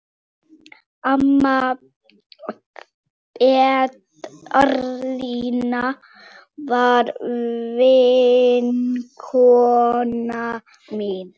Amma Petrína var vinkona mín.